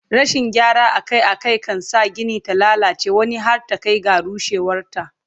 Rashin gyara Akai Akai kan sa Gini ta lallace wani har ta Kai ga rushewar ta